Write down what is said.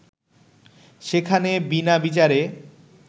সেখানে বিনা বিচারে